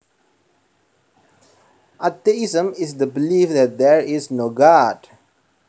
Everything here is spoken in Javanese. Atheism is the belief that there is no God